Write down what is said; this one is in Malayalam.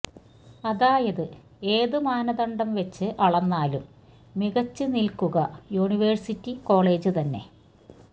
അതായത് ഏത് മാനദണ്ഡം വെച്ച് അളന്നാലും മികച്ച് നില്ക്കുക യൂണിവേഴ്സിറ്റി കോളേജ് തന്നെ